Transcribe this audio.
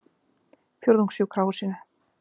Fjórðungssjúkrahúsinu